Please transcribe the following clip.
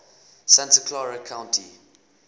santa clara county